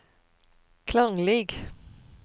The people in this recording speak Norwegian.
klanglig